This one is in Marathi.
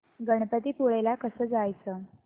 गणपतीपुळे ला कसं जायचं